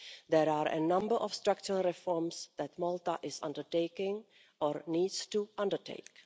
There are a number of structural reforms that Malta is undertaking or needs to undertake.